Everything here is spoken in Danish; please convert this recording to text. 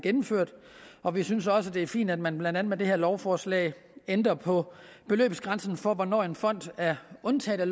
gennemført og vi synes også det er fint at man blandt andet med det her lovforslag ændrer på beløbsgrænsen for hvornår en fond er undtaget